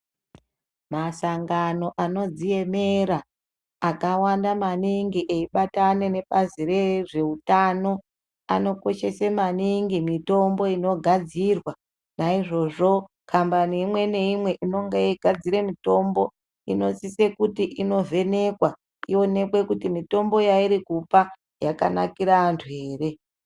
Masangano anodziemera akavanda maningi eibatana nebazi rezveutano anokoshese maningi mitombo inogadzirwa ,naizvozvo kambani imwe naimwe inogadzire mitombo inosise kuti ivhenekwa inoonekwe kuti mitombo yairikupa yakanaikira antu ere.